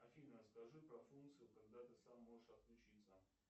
афина расскажи про функцию когда ты сам можешь отключиться